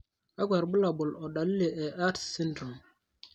kakwa irbulabol o dalili e Arts syndrome?